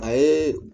A ye